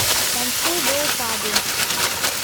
танцуй до упаду